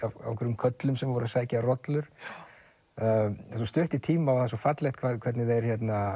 á einhverjum körlum sem voru að sækja rollur það er svo stutt í tíma og það er svo fallegt hvernig þeir